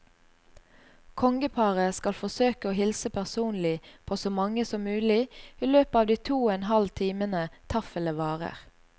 Kongeparet skal forsøke å hilse personlig på så mange som mulig i løpet av de to og en halv timene taffelet varer.